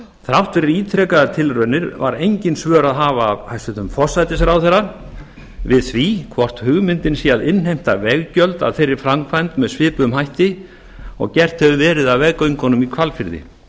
þrátt fyrir ítrekaðar tilraunir var engin svör að hafa af hæstvirtum forsætisráðherra við því hvort hugmyndin sé að innheimta veggjöld af þeirri framkvæmd með svipuðum hætti og gert hefur verið af veggöngunum í hvalfirði